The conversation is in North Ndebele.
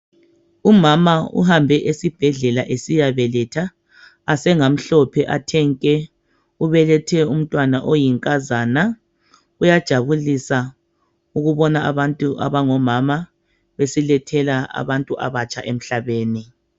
Umama uhambe esibhedlela esiya beletha asengamhlophe athe nke ubelethe umntwana oyinkazana kuyajabulisa ukubona abantu abangomama besilethela abantu abatsha emhlabeni.